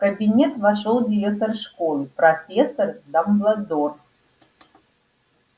в кабинет вошёл директор школы профессор дамблдор